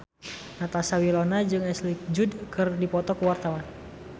Natasha Wilona jeung Ashley Judd keur dipoto ku wartawan